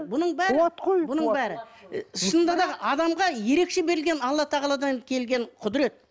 бұның бәрі бұның бәрі шынында да адамға ерекше берілген алла тағаладан келген құдірет